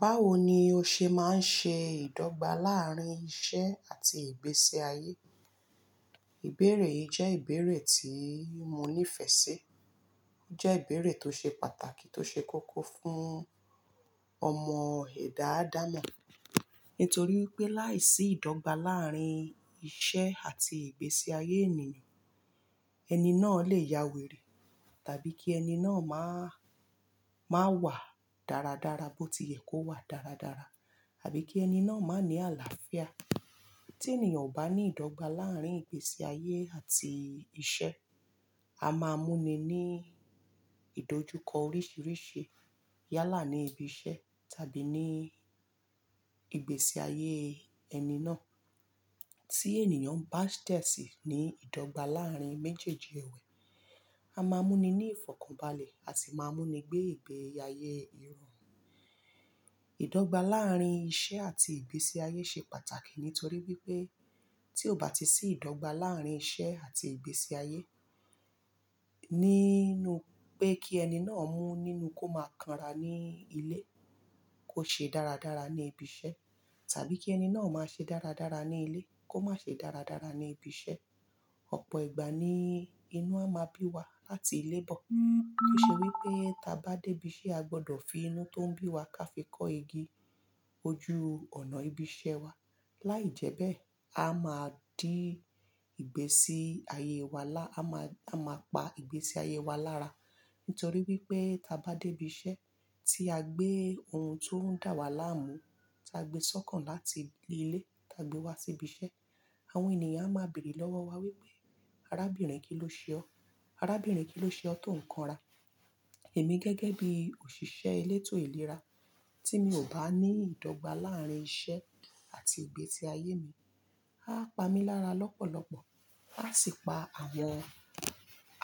Báwo ni o ṣe máa ń ṣe ìdọ́gba láàrín iṣẹ́ àti ìgbésí ayé? Ìbéèrè yìí jẹ́ ìbéèrè tí mo nífẹ̀ẹ́ sí. Ó jẹ́ ìbéèrè tó ṣe pàtàkì, tó ṣe kókó fún ọmọ ẹ̀dá àdámọ̀. Nítorí wípé láìsí ìdọ́gba láàrín iṣẹ́ àti ìgbésí ayé ènìyàn, ẹni náà lè ya wèrè, tàbí kí ẹni náà máa, máa wà dáradára bó ti yẹ kó wà dáradára, tàbí kí ẹni náà má ní àlàáfíà. Tí ènìyàn ò bá ní ìdọ́gba láàrín ìgbésí ayé àti iṣẹ́, a máa mú ni ní ìdójúkọ oríṣìíríṣìí yálà ní ibi iṣẹ́ tàbí ní ìgbésí ayé ẹni náà. Tí ènìyàn bá dẹ̀ sí ní ìdọ́gba láàrín méjèèjì èwè, a máa mú ni ní ìfọ̀kànbalẹ̀, a sì máa mú ni gbé ìgbé ayé irọ̀rùn. Ìdọ́gba láàrín iṣẹ́ àti ìgbésí ayé ṣe pàtàkì nítorí wípé tí ó bá ti sí ìdọ́gba láàrín iṣẹ́ àti ìgbésí ayé, ní nú pé kí ẹni náà mú nínú kó máa kanra ní ilé, kó ṣe dáradára ní ibi iṣẹ́, tàbí kí ẹni náà má ṣe dáradára ní ilé, kó má ṣe dáradára ní ibi iṣẹ́. Ọ̀pọ̀ ìgbà ni inú a máa bí wa láti ilé bọ̀. Tóṣe wípé tí a bá dé ibi iṣẹ́ a gbọ́dọ̀ fi inú tó ń bí wa k'á fi kọ́ igi ojú ọ̀nà ibi iṣẹ́ wa. Láìjẹ́bẹ́ẹ̀, a máa dí ìgbésí ayé wa lá-- a má, a máa pa ìgbésí ayé wa lára. Nítorí wípé tí a bá dé ibi iṣẹ́ tí a gbé ohun tó ń dà wá láàmú, tí a gbé sọ́kàn láti ilé, tí a gbé wá sí ibi iṣẹ́, àwọn ènìyàn a máa bèrè lọ́wọ́ wa wípé "arábìnrin kí ló ṣe ọ́? Arábìnrin kí ló ṣe ọ tó ń kanra?" Èmi gẹ́gẹ́ bí òṣìṣẹ́ elétò ìlera tí mi ò bá ní ìdọ́gba láàrín iṣẹ́ àti ìgbésí ayé mi, a á pamí lára lọ́pọ̀lọ́pọ̀. A sì pa àwọn,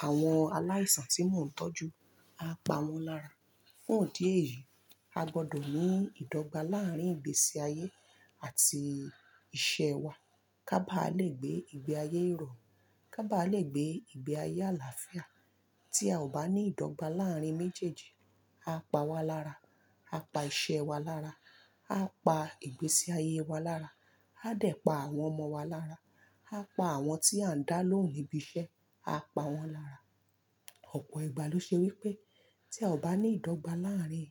àwọn aláìsàn tí mò ń tọ́jú, a á pawọ́n lára. Fún ìdí èyí, a gbọ́dọ̀ ní ìdọ́gba láàrín ìgbésí ayé àti iṣẹ́ wa ká bá lè gbé ìgbé ayé ìrọ̀rùn, ká bá lè gbé ìgbé ayé àlàáfíà. Tí a ò bá ní ìdọ́gba láàrín méjèèjì, a á pa wa lára, a á pa iṣẹ́ wa lára, a á pa ìgbésí ayé wa lára, a dẹ̀ pa àwọn ọmọ wa lára, a á pa àwọn tí à ń dá lóhùn ní ibi iṣẹ́, a á pa wọ́n lára. Ọ̀pọ̀ ìgbà ló ṣe wípé tí a ò bá ní ìdọ́gba láàrín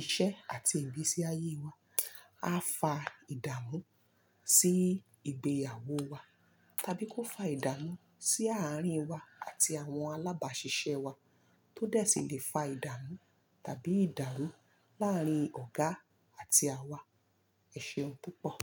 iṣẹ́ àti ìgbésí ayé wa, a fa ìdààmú sí ìgbéyàwó wa, tàbí kó fa ìdààmú sí àárín wa àti àwọn alábàáṣiṣẹ́ wa tó dẹ̀ sì lè fa ìdààmú tàbí ìdàrú láàrín ọ̀gá àti à wa. Ẹ ṣeun tó pọ̀.